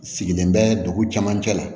Sigilen bɛ dugu camancɛ la